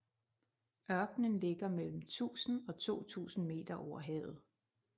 Ørkenen ligger mellem 1000 og 2000 meter over havet